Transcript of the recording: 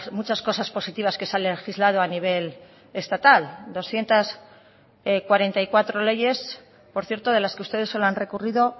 muchas cosas positivas que se han legislado a nivel estatal doscientos cuarenta y cuatro leyes por cierto de las que ustedes solo han recurrido